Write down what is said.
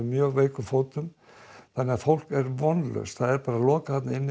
mjög veikum fótum þannig að fólk er vonlaust það er lokað þarna inni